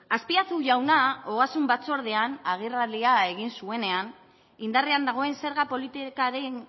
azpiazu jauna ogasun batzordean agerraldia egin zuenean indarrean dagoen zerga politikaren